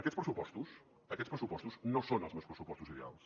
aquests pressupostos aquests pressupostos no són els meus pressupostos ideals